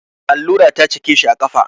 Allura ta cake shi a ƙafa.